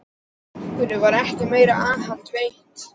Af hverju var ekki meira aðhald veitt?